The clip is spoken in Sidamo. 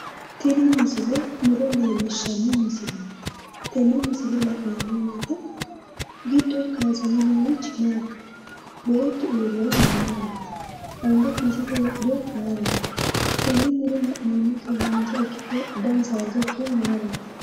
Tini misile muro leellishanno misileeti tenne misile la'neemmo woyite giddo kaasame noorichi maati beettu uurrewohu mayiraati anga kiisete wodhewohu mayiraati tenne muro la'neemmotehu danise haanja ikkinohu mayiraati